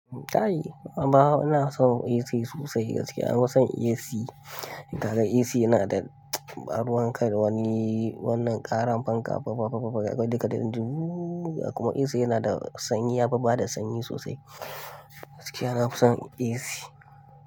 Kai, amma ina son AC sosai gaskiya. Ina son AC. Ka ga AC yana da baruwanka da wani, wannan ƙarar fanka duka dukka. Kuma AC yana da sanyi, yafi bada sanyi sosai. Gaskiya nafi son AC.